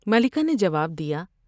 ملکہ نے جواب دیا ۔